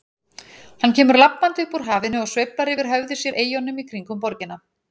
Hann kemur labbandi upp úr hafinu og sveiflar yfir höfði sér eyjunum í kringum borgina.